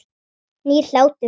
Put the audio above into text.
Nýr hlátur.